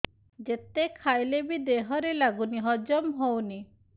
ଯେତେ ଖାଇଲେ ବି ଦେହରେ ଲାଗୁନି ହଜମ ହଉନି